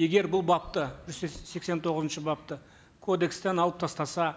егер бұл бапты жүз сексен тоғызыншы бапты кодекстен алып тастаса